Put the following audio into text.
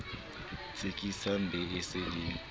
tsekisang be e se e